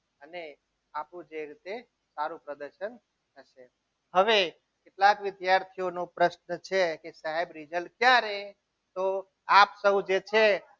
અને આપણું જે રીતે સારું પ્રદર્શન હવે કેટલાક વિદ્યાર્થીઓનો પ્રશ્ન છે કે સાહેબ result ક્યારે? તો આપ સૌ જે છે.